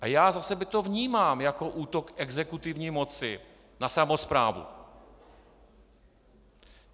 A já za sebe to vnímám jako útok exekutivní moci na samosprávu.